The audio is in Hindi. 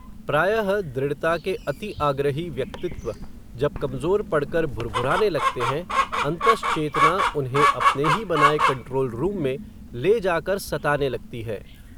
प्रायः, दृढ़ता के अतिआग्रही व्यक्तित्व, जब कमज़ोर पड़कर भुरभुराने लगते हैं, अन्तश्चेतना उन्हें, अपने ही बनाये कन्ट्रोलरूम में, ले जाकर, सताने लगती है